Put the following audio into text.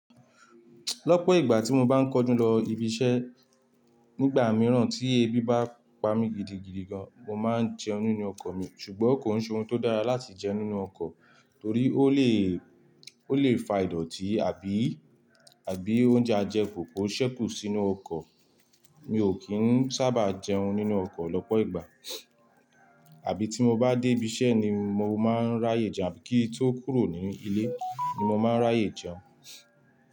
Lọ́pọ̀ ìgbà tí mo bá ń kánjú lọ ibi iṣẹ́, nígbà mìíràn tí ebi bá pa mi gidigidi gan, mo máa ń jẹun nínú ọkọ̀ mi ṣùgbọ́n kò ń ṣe ohun tó dára láti jẹ nínú ọkọ̀ torí ó lè, ó lè fa ìdọ̀tí àbí, àbí oúnjẹ ajẹ kù, kò ṣẹkù sínú ọkọ̀. Mi ò kín sábà jẹun nínú ọkọ̀ lọ́pọ̀ ìgbà. Àbí tí mo bá dé ibi iṣẹ́ ni mo máa ń ráyè jẹun àbí kí tó kúrò ní ilé ni mo máa ń ráyè jẹun.